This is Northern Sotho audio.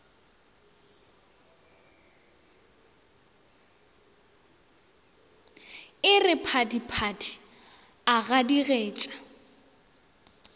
e re phadiphadi a gadigetša